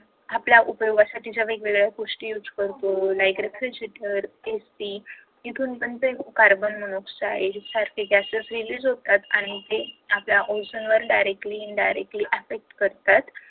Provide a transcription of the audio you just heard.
आपल्या उपयोगासाठी ज्या वेगवेगळ्या गोष्टी use करतो like refrigerator एकटी इथून पण ते कार्बन-डाय-ऑक्‍साईड सारखे gases realize होतात आणि ते आपल्या ओझोन वर directly in directly affect करतात